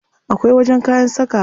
Akwai wajen kayan sakawa.